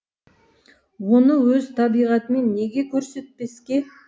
оны өз табиғатымен неге көрсетпеске